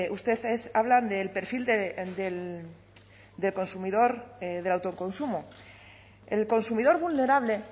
ustedes hablan del perfil del consumidor del autoconsumo el consumidor vulnerable